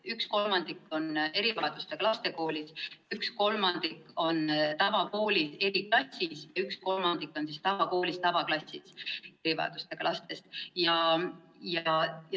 Üks kolmandik erivajadustega lastest on erivajadustega laste koolis, üks kolmandik on tavakoolis eriklassis ja üks kolmandik on tavakoolis tavaklassis.